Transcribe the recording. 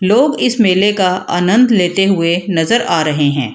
लोग इस मेले का आनंद लेते हुए नजर आ रहे है।